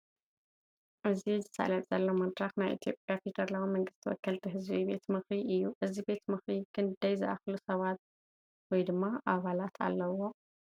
እዚ ዝሳለጥ ዘሎ መድረኽ ናይ ኢትዮጵያ ፌደራላዊ መንግስቲ ወከልቲ ሕዝቢ ቤት ምኽሪ እዩ፡፡ እዚ ቤት ምኽሪ ክንዳይ ዝኣኽሉ ኣባላት ኣለዉዎ?